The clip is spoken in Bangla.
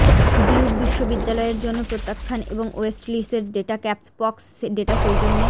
ডিউক বিশ্ববিদ্যালয়ের জন্য প্রত্যাখ্যান এবং ওয়েস্টলিস্ট ডেটা ক্যাপপক্স ডেটা সৌজন্যে